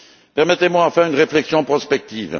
Permettez moi enfin une réflexion prospective.